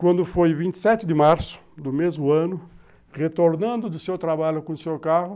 Quando foi vinte e sete de março do mesmo ano, retornando do seu trabalho com o seu carro,